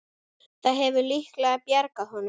Það hefur líklega bjargað honum.